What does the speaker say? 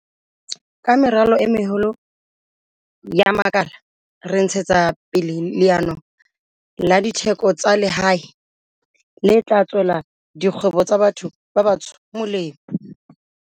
Ka meralo e meholo ya makala re ntshetsa pele leano la ditheko tsa lehae le tla tswela dikgwebo tsa batho ba batsho molemo.